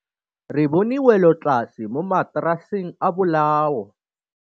Re bone wêlôtlasê mo mataraseng a bolaô.